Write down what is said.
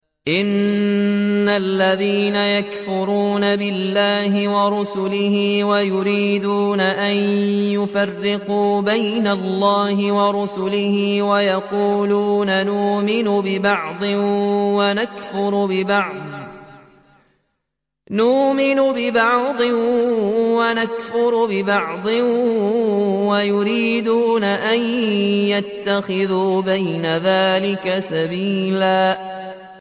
إِنَّ الَّذِينَ يَكْفُرُونَ بِاللَّهِ وَرُسُلِهِ وَيُرِيدُونَ أَن يُفَرِّقُوا بَيْنَ اللَّهِ وَرُسُلِهِ وَيَقُولُونَ نُؤْمِنُ بِبَعْضٍ وَنَكْفُرُ بِبَعْضٍ وَيُرِيدُونَ أَن يَتَّخِذُوا بَيْنَ ذَٰلِكَ سَبِيلًا